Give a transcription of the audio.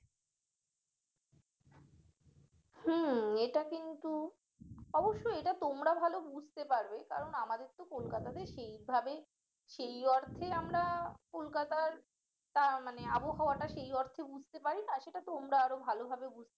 হম এটা কিন্তু অবশ্যই এটা তোমরা ভালো বুঝতে পারবে কারণ আমাদের তো কলকাতা তে সেইভাবে সেই অর্থে আমরা কলকাতার তা মানে আবহাওয়াটা সেই অর্থে বুঝতে পারি তাছাড়া তোমরা আরো ভালোভাবে বুঝতে পারবে